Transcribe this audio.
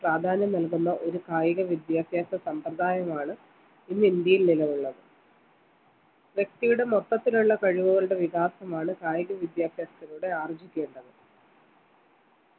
പ്രാധാന്യം നൽകുന്ന ഒരു കായീക വിദ്യാഭ്യാസ സമ്പ്രദായമാണ് ഇന്ന് ഇന്ത്യയിൽ നിലവിൽ ഉള്ളത് വ്യക്തിയുടെ മൊത്തത്തിലുള്ള കഴിവുകളുടെ വികാസമാണ് കായിക വിദ്യാഭ്യാസത്തിലൂടെ ആർജിക്കേണ്ടത്